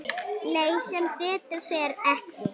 Nei sem betur fer ekki.